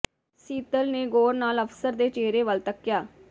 ਸੀਤਲ ਨੇ ਗੌਰ ਨਾਲ਼ ਅਫ਼ਸਰ ਦੇ ਚਿਹਰੇ ਵੱਲ ਤੱਕਿਆ